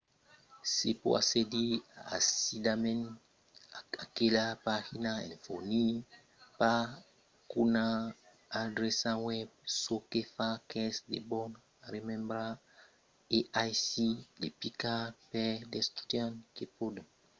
se pòt accedir aisidament a aquela pagina en fornir pas qu’una adreça web çò que fa qu’es de bon remembrar e aisit de picar per d’estudiants que pòdon aver de problèmas en utilizar lo clavièr o amb l’ortografia